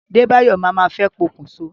Débáyọ̀ mà mà fẹ́ pokùn so.